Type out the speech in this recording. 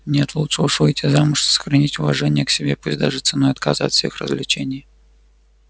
нет лучше уж выйти замуж и сохранить уважение к себе пусть даже ценой отказа от всех развлечений